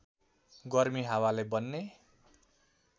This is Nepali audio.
गर्मी हावाले बन्ने